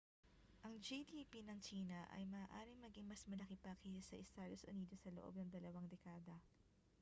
ang gdp ng tsina ay maaaring maging mas malaki pa kaysa sa estados unidos sa loob ng dalawang dekada